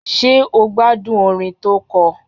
Ṣé o gbádùn orin tó kọ?